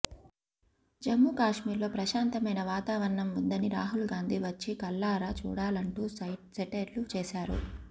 జమ్ముకశ్మీర్ లో ప్రశాంతమైన వాతావరణం ఉందని రాహుల్ గాంధీ వచ్చి కళ్లారా చూడాలంటూ సెటైర్లు వేశారు